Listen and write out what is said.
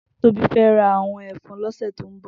Tobi fè rá àwòn èfòn lòsè tó n bò